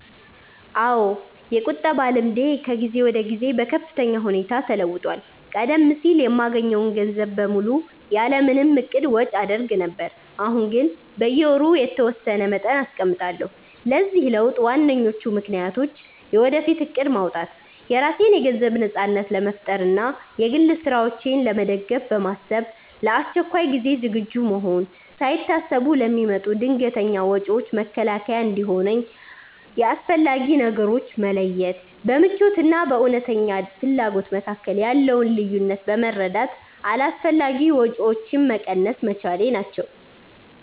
አዎ፣ የቁጠባ ልምዴ ከጊዜ ወደ ጊዜ በከፍተኛ ሁኔታ ተለውጧል። ቀደም ሲል የማገኘውን ገንዘብ በሙሉ ያለ ምንም እቅድ ወጪ አደርግ ነበር፤ አሁን ግን በየወሩ የተወሰነ መጠን አስቀምጣለሁ። ለዚህ ለውጥ ዋነኞቹ ምክንያቶች፦ የወደፊት እቅድ ማውጣት፦ የራሴን የገንዘብ ነጻነት ለመፍጠር እና የግል ስራዎቼን ለመደገፍ በማሰብ፣ ለአስቸኳይ ጊዜ ዝግጁ መሆን፦ ሳይታሰቡ ለሚመጡ ድንገተኛ ወጪዎች መከላከያ እንዲሆነኝ፣ የአስፈላጊ ነገሮች መለየት፦ በምኞት እና በእውነተኛ ፍላጎት መካከል ያለውን ልዩነት በመረዳት አላስፈላጊ ወጪዎችን መቀነስ መቻሌ ናቸው።